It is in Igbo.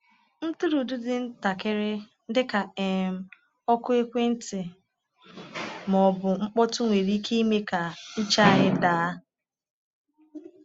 Ntụrụndụ dị ntakịrị — dịka um oku ekwentị ma ọ bụ mkpọtụ-nwere ike ime ka uche anyị anyị daa.